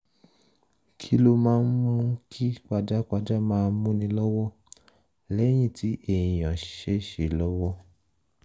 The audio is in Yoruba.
kí ló máa ń mú kí pajápajá máa múni lọ́wọ́ lẹ́yìn tí èèyàn ṣèṣe lọ́wọ́?